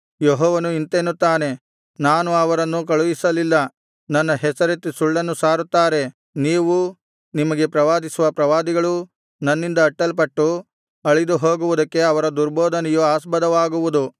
ಯೆಹೋವನು ಇಂತೆನ್ನುತ್ತಾನೆ ನಾನು ಅವರನ್ನು ಕಳುಹಿಸಲಿಲ್ಲ ನನ್ನ ಹೆಸರೆತ್ತಿ ಸುಳ್ಳನ್ನು ಸಾರುತ್ತಾರೆ ನೀವೂ ನಿಮಗೆ ಪ್ರವಾದಿಸುವ ಪ್ರವಾದಿಗಳೂ ನನ್ನಿಂದ ಅಟ್ಟಲ್ಪಟ್ಟು ಅಳಿದುಹೋಗುವುದಕ್ಕೆ ಅವರ ದುರ್ಬೋಧನೆಯು ಆಸ್ಪದವಾಗುವುದು